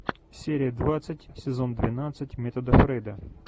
серия двадцать сезон двенадцать метода фрейда